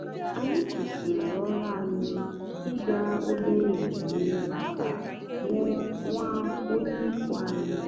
anyị kwụsịrị ọrụ anyị ịga obere ememe maka nwa onye ikwu anyị.